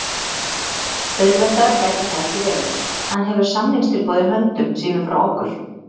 Auðveldara gæti það ekki verið. Hann hefur samningstilboð í höndum sínum frá okkur.